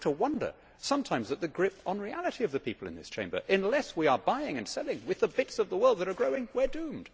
You have to wonder sometimes at the grip on reality of the people in this Chamber. Unless we are buying and selling with the bits of the world that are growing, we are doomed.